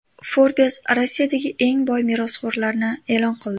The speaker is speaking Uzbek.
Forbes Rossiyadagi eng boy merosxo‘rlarni e’lon qildi.